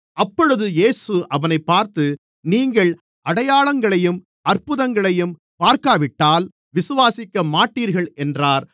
அப்பொழுது இயேசு அவனைப் பார்த்து நீங்கள் அடையாளங்களையும் அற்புதங்களையும் பார்க்காவிட்டால் விசுவாசிக்கமாட்டீர்கள் என்றார்